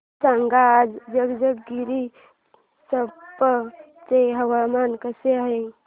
सांगा आज जंजगिरचंपा चे हवामान कसे आहे